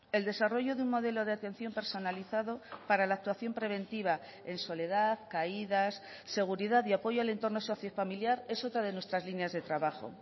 el desarrollo de un modelo de atención personalizado para la actuación preventiva en soledad caídas seguridad y apoyo al entorno socio familiar es otra de nuestras líneas de trabajo